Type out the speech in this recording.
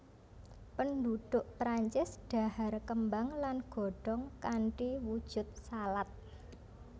Penduduk Prancis dhahar kembang lan godhong kanthi wujud salad